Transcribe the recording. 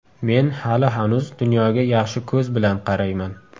Men hali-hanuz dunyoga yaxshi ko‘z bilan qarayman.